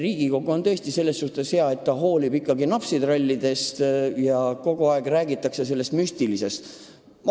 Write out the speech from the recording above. Riigikogu on tõesti selles mõttes hea, et ta hoolib ikkagi napsitrallidest.